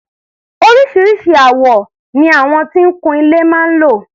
Oríṣiríṣi àwọn ni àwọn tó ń kun ilé máa ń lò.